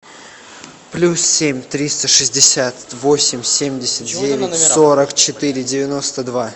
плюс семь триста шестьдесят восемь семьдесят девять сорок четыре девяносто два